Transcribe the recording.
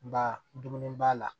Ba dumuni b'a la